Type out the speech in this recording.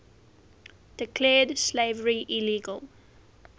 declared slavery illegal